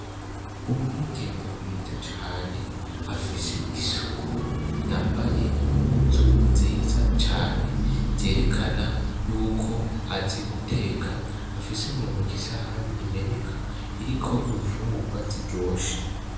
Umwigeme mwiza cane afise isuku yambaye impuzj nziza cane zerekana yuko azi guteka afise muntoki isahani imeneka iriko imfungugwa ziryoshe.